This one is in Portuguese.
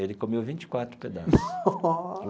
Ele comeu vinte e quatro pedaços. Nossa.